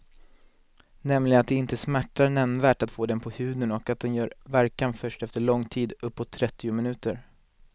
Nämligen att det inte smärtar nämnvärt att få den på huden och att den gör verkan först efter lång tid, uppåt trettio minuter.